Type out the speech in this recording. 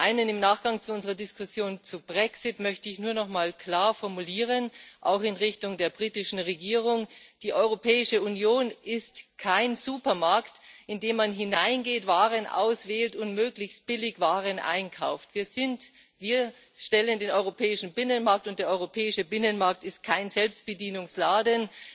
Zum Einen Im Nachgang zu unserer Diskussion über den Brexit möchte ich nur nochmal klar formulieren, auch in Richtung der britischen Regierung Die Europäische Union ist kein Supermarkt, in den man hineingeht, Waren auswählt und möglichst billig Waren einkauft. Wir haben den europäischen Binnenmarkt, und der europäische Binnenmarkt ist kein Selbstbedienungsladen.